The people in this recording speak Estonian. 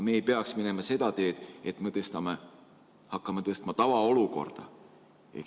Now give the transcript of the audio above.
Me ei peaks minema seda teed, et hakkame tavaolukorda.